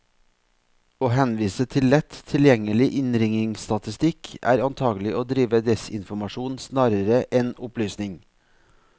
Å henvise til lett tilgjengelig innringningsstatistikk, er antagelig å drive desinformasjon snarere enn opplysning.